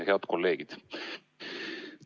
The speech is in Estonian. Head kolleegid!